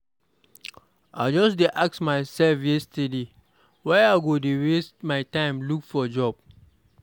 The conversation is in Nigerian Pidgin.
I just dey ask myself yesterday why I go dey waste my time look for job.